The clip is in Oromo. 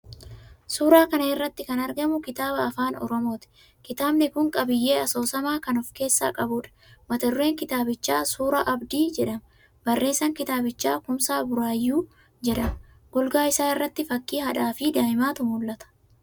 Suuraa kana irratti kan argamu kitaaba Afaan Oromooti. Kitaabni kun qabiyyee asoosamaa kan of keessaa qabuudha. Mata-dureen kitaabichaa "Suuraa Abdii" jedhama. Barreessaan kitaabichaa Kumsaa Buraayyuu jedhama. Golgaa isaa irratti fakkii haadhaafi daa'imaatu mul'ata.